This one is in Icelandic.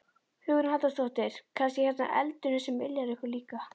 Hugrún Halldórsdóttir: Kannski hérna eldurinn sem yljar ykkur líka?